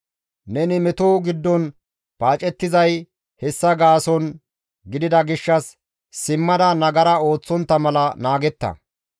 Neni meto giddon paacettizay hessa gaason gidida gishshas simmada nagara ooththontta mala naagetta.